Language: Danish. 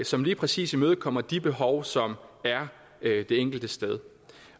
som lige præcis imødekommer de behov som er det enkelte sted